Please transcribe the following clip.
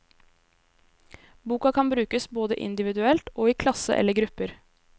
Boka kan brukes både individuelt og i klasse eller grupper.